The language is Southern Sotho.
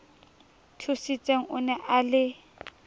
thusitseng o ne a le